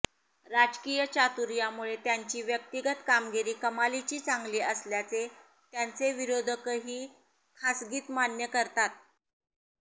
राजकीय चातुर्यामुळे त्यांची व्यक्तिगत कामगिरी कमालीची चांगली असल्याचे त्यांचे विरोधकही खासगीत मान्य करतात